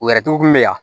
U yɛrɛtogo kun bɛ yan